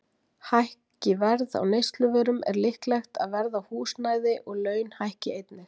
Hækki verð á neysluvörum er líklegt að verð á húsnæði og laun hækki einnig.